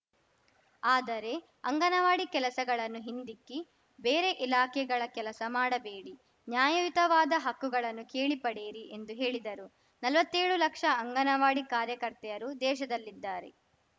ಆದರೆ ಅಂಗನವಾಡಿ ಕೆಲಸಗಳನ್ನು ಹಿಂದಿಕ್ಕಿ ಬೇರೆ ಇಲಾಖೆಗಳ ಕೆಲಸ ಮಾಡಬೇಡಿ ನ್ಯಾಯಯುತವಾದ ಹಕ್ಕುಗಳನ್ನು ಕೇಳಿ ಪಡೆಯಿರಿ ಎಂದು ಹೇಳಿದರು ನಲ್ವತ್ತೇಳು ಲಕ್ಷ ಅಂಗನವಾಡಿ ಕಾರ್ಯಕರ್ತೆಯರು ದೇಶದಲ್ಲಿದ್ದಾರೆ